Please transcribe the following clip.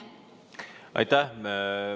Aitäh!